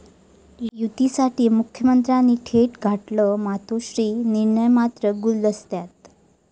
युतीसाठी मुख्यमंत्र्यांनी थेट गाठलं 'मातोश्री', निर्णय मात्र गुलदस्त्यात!